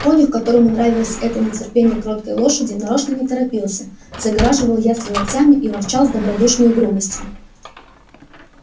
конюх которому нравилось это нетерпение кроткой лошади нарочно не торопился загораживал ясли локтями и ворчал с добродушною грубостью